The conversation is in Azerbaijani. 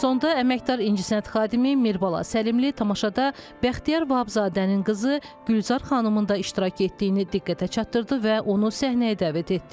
Sonda əməkdar incəsənət xadimi Mirbala Səlimli tamaşada Bəxtiyar Vahabzadənin qızı Gülzar xanımın da iştirak etdiyini diqqətə çatdırdı və onu səhnəyə dəvət etdi.